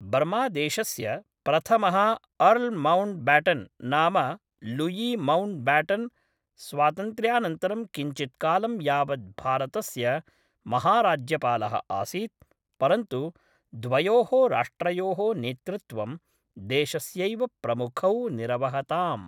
बर्मादेशस्य प्रथमः Earl Mountbatten नाम Louis Mountbatten स्वातन्त्र्यानन्तरं किञ्चित्कालं यावत् भारतस्य महाराज्यपालः आसीत्, परन्तु द्वयोः राष्ट्रयोः नेतृत्वं देशस्यैव प्रमुखौ निरवहताम्।